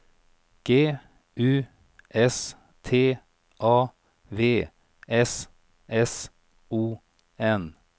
G U S T A V S S O N